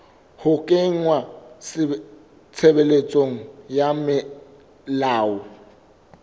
ho kenngwa tshebetsong ha melao